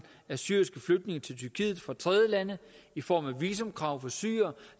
af syriske flygtninge til tyrkiet fra tredjelande i form af et visumkrav for syrere